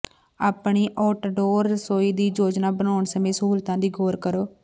ਆਪਣੀ ਆਊਟਡੋਰ ਰਸੋਈ ਦੀ ਯੋਜਨਾ ਬਣਾਉਣ ਸਮੇਂ ਸਹੂਲਤਾਂ ਦੀ ਗੌਰ ਕਰੋ